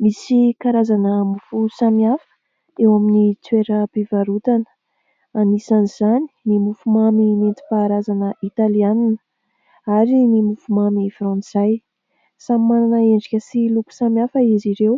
misy karazana mofo samihafa eo amin'ny toeram-pivarotana, anisan'izany ny mofomamy nentim-paharazana italiana ary ny mofomamy fratnsay samy manana endrika sy loko samihafa izy ireo